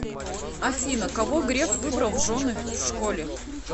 афина кого греф выбрал в жены в школе